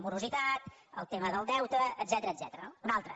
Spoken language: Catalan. morositat el tema del deute etcètera no una altra